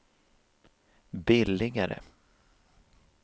billigare